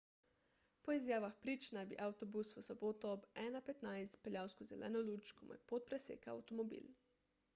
po izjavah prič naj bi avtobus v soboto ob 1.15 peljal skozi zeleno luč ko mu je pot presekal avtomobil